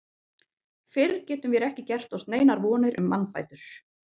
Fyrr getum vér ekki gert oss neinar vonir um mannbætur.